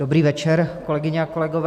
Dobrý večer, kolegyně a kolegové.